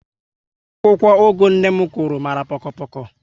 Akwụkwọ ugu nné m Kuru mara poko poko